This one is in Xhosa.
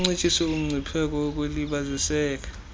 kuncitshiswe umgcipheko wokulibaziseka